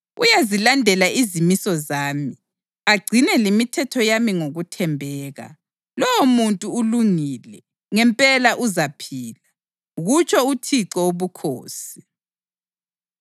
Uyazilandela izimiso zami agcine lemithetho yami ngokuthembeka. Lowomuntu ulungile; ngempela uzaphila, kutsho uThixo Wobukhosi.